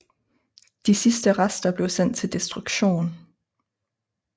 De sidste rester blev sendt til destruktion